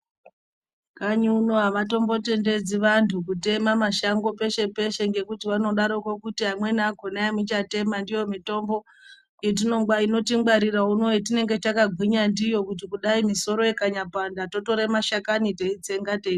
Kanyi uno havatombotendedzi vantu kutema mashango peshe peshe ngekuti vanodaroko kuti amweni akhona emuchatema ndiwo mitombo inotingwarira uno yetinenge takagwinya ndiyo kuti kudayi misoro ikanyapanda totora mashakani teitsenga.